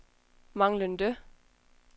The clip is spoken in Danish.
manglende